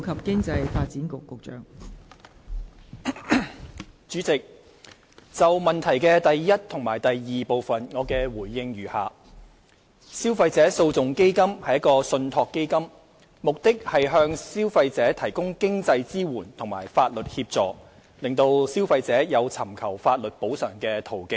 代理主席，就質詢的第一及二部分，我的答覆如下：消費者訴訟基金為信託基金，目的是向消費者提供經濟支援及法律協助，讓消費者有尋求法律補償的途徑。